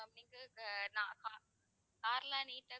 ஆஹ் நான் car லா neat டா,